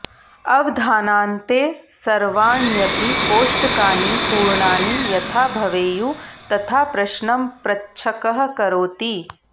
अवधानान्ते सर्वाण्यपि कोष्टकानि पूर्णानि यथा भवेयुः तथा प्रश्नं प्रच्छकः करोति